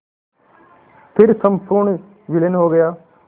फिर संपूर्ण विलीन हो गया